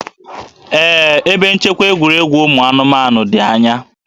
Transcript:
Ee, ebe nchekwa egwuregwu ụmụ anụmanụ dị anya